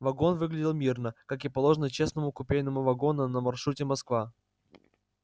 вагон выглядел мирно как и положено честному купейному вагону на маршруте москва